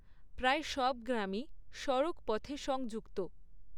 প্রায় সব গ্রামই সড়কপথে সংযুক্ত।